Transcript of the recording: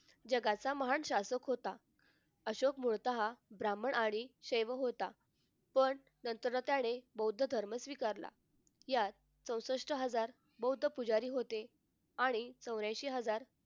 जगाचा महान शासक होता अशोक मुळतः ब्राह्मण आणि सेवक होता पण नंतर त्याने बौद्ध धर्म स्वीकारला. यात चौसष्ट हजार बौद्ध पुजारी होते आणि चौऱ्यांशी हजार